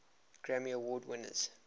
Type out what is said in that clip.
grammy award winners